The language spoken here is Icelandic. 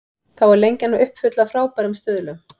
Þá er Lengjan uppfull af frábærum stuðlum.